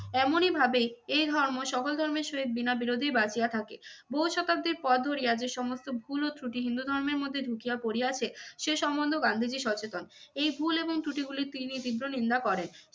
এমনই ভাবে এই ধর্ম সকল ধর্মের সহিত বিনা বিরোধেই বাঁচিয়া থাকে। বহু শতাব্দির পথ ধরিয়া যে সমস্ত ভুল ও ত্রুটি হিন্দু ধর্মের মধ্যে ঢুকিয়া পড়িয়াছে সে সম্বন্ধেও গান্ধীজী সচেতন। এই ভুল এবং ত্রুটিগুলি তিনি তীব্র নিন্দা করেন।